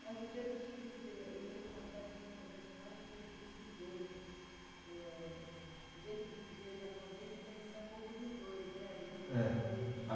Mas o jeito de viver, o jeito na verdade, acho que não é o jeito de viver. Eh, o jeito de viver japonês é conhecer um pouco dos dois, né, do jeito de viver. É,